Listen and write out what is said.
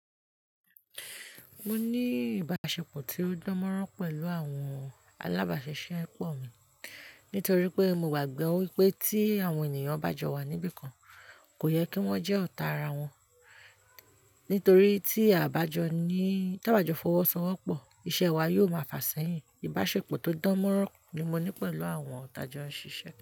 Mo ní ìbáṣepọ̀ tí ó dán mọ́rán pẹ̀lú àwọn alábàáṣisẹ́ po mi nítorí pé mo gbàgbọ́ wípé tí àwọn ènìyàn bá jọ wa níbìkan, kò yẹ kí wọ́n jẹ́ ọ̀tá ara wọn. Nítorí tí àbájọ fọwọ́ sanwó pọ̀, iṣẹ́ wa yóò máa fà sí eyìn. Ìbáṣepọ̀ tó dán mọ́rán ni mo ní pẹ̀lú àwọn tajọ n ṣiṣẹ́